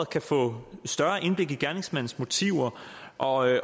kan få større indblik i gerningsmandens motiver og at